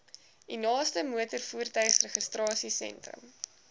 u naaste motorvoertuigregistrasiesentrum